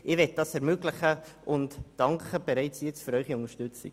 Dies möchte ich ermöglichen, und ich danke für Ihre Unterstützung.